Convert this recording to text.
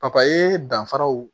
Papaye danfaraw